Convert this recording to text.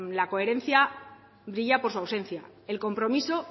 la coherencia brilla por su ausencia el compromiso